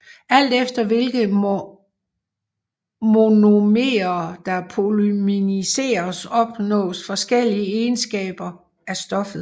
Alt efter hvilke monomerer der polymeriseres opnås forskellige egenskaber af stoffet